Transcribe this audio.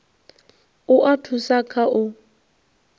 u a thusa kha u